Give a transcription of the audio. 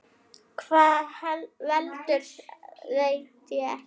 Hvað veldur, veit ég ekki.